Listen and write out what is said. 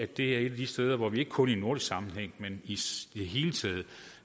det er et af de steder hvor vi ikke kun i nordisk sammenhæng men i det hele taget